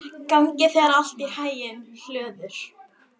Gangi þér allt í haginn, Hlöður.